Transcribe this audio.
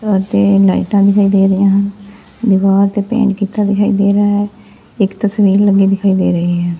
ਤੇ ਦੀਵਾਰ ਲਾਈਟਾਂ ਵੀ ਦਿਖਾਈ ਦੇ ਰਹੇ ਹਨ ਦੀਵਾਰ ਤੇ ਪੇਂਟ ਕੀਤਾ ਦਿਖਾਈ ਦੇ ਰਿਹਾ ਇੱਕ ਤਸਵੀਰ ਲੱਗੀ ਦਿਖਾਈ ਦੇ ਰਹੀ ਹੈ।